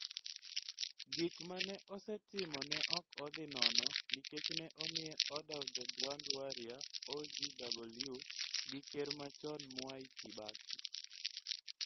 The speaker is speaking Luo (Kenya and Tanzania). Gik ma ne osetimo ne ok odhi nono nikech ne omiye Order of the Grand Warrior (OGW) gi Ker machon Mwai Kibaki.